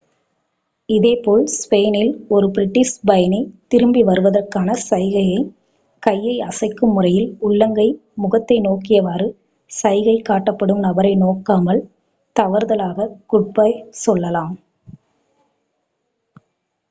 இதேபோல் ஸ்பெயினில் ஒரு பிரிட்டிஷ் பயணி திரும்பி வருவதற்கான சைகையாகக் கையை அசைக்கும் முறையில் உள்ளங்கை முகத்தை நோக்கியவாறு சைகை காட்டப்படும் நபரை நோக்காமல் தவறுதலாகக் குட்-பை சொல்லலாம்